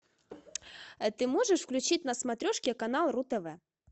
а ты можешь включить на смотрешке канал ру тв